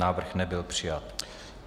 Návrh nebyl přijat.